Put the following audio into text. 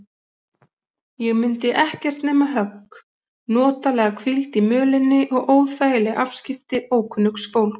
Ég mundi ekkert nema högg, notalega hvíld í mölinni og óþægileg afskipti ókunnugs fólks.